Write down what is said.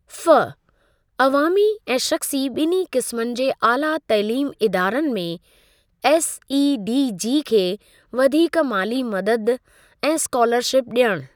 (फ)अवामी ऐं शख़्सी ॿिन्हीं क़िस्मनि जे आला तइलीम इदारनि में एसईडीजी खे वधीक माली मददु ऐं स्कॉलरशिप ॾियणु।